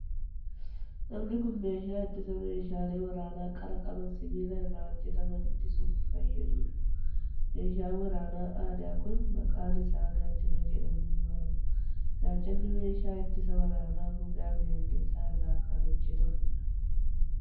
Namni kun, meeshaa ittisa meeshaalee waraanaa qara qaban sibiila irraa hojjataman ittisuuf fayyaduu dha. Meeshaan waraanaa aadaa kun, maqaan isaa gaachana jedhamuun waamama. Gaachanni meeshaa ittisa waraanaa gogaa bineeldotaa irraa kan hojjatamuu dha.